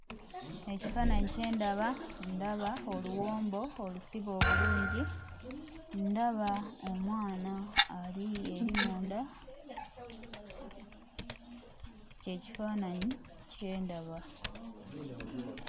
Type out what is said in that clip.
Ekifaananyi kye ndaba ndaba oluwombo olusibe obulungi, ndaba omwana ali eri munda, ky'ekifaananyi kye ndaba.